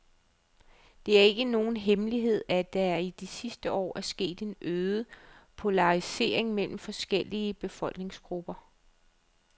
Det er ikke nogen hemmelighed, at der i de sidste år er sket en øget polarisering mellem forskellige befolkningsgrupper.